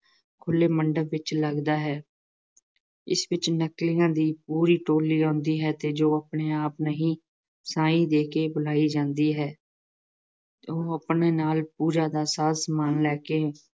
ਖੁੱਲ੍ਹੇ ਮੰਡਪ ਵਿੱਚ ਲੱਗਦਾ ਹੈ। ਇਸ ਵਿੱਚ ਨਕਲੀਆਂ ਦੀ ਪੂਰੀ ਟੋ਼ਲੀ ਆਉਂਦੀ ਹੈ ਅਤੇ ਜੋ ਆਪਣੇ ਆਪ ਨਹੀਂ ਸਾਈਂ ਦੇ ਕੇ ਬੁਲਾਈ ਜਾਂਦੀ ਹੈ ਉਹ ਆਪਣੇ ਨਾਲ ਪੂਜਾ ਦਾ ਸਾਰਾ ਸਮਾਨ ਲੈ ਕੇ